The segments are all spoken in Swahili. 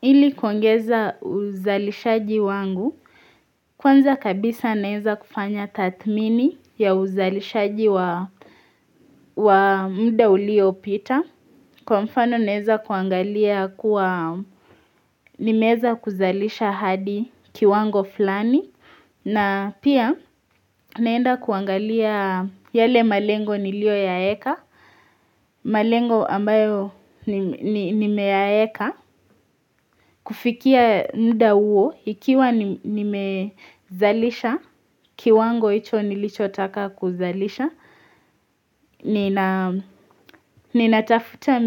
Ili kuangeza uzalishaji wangu kwanza kabisa naweza kufanya tathimini ya uzalishaji wa muda uliopita kwa mfano naweza kuangalia kuwa nimeweza kuzalisha hadi kiwango fulani na pia naenda kuangalia yale malengo niliyoyaeka malengo ambayo nimeyaeka kufikia muda huo, ikiwa nimezalisha, kiwango hicho nilichotaka kuzalisha, ninatafuta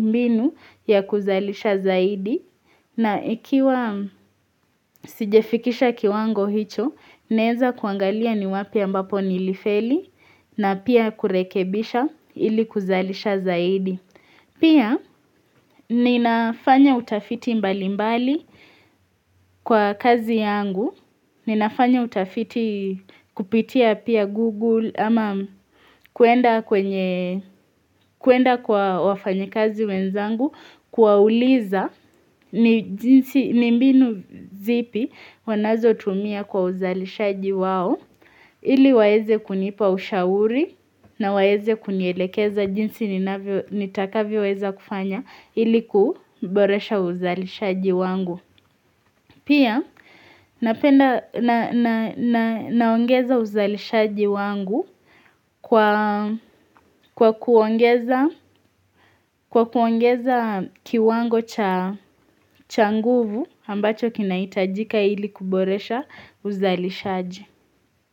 mbinu ya kuzalisha zaidi, na ikiwa sijafikisha kiwango hicho, naeza kuangalia ni wapi ambapo nilifeli, na pia kurekebisha ili kuzalisha zaidi. Pia ninafanya utafiti mbalimbali kwa kazi yangu, ninafanya utafiti kupitia pia Google ama kwenda kwa wafanyakazi wenzangu kuwauliza ni mbinu zipi wanazotumia kwa uzalishaji wao. Ili waeze kunipa ushauri na waeze kunielekeza jinsi nitakavyoweza kufanya ili kuboresha uzalishaji wangu. Pia naongeza uzalishaji wangu kwa kuongeza kiwango cha nguvu ambacho kinahitajika ili kuboresha uzalishaji.